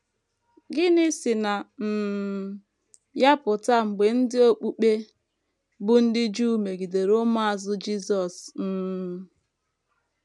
Gịnị si na um ya pụta mgbe ndị okpukpe bụ́ ndị Juu megidere ụmụazụ Jisọs um?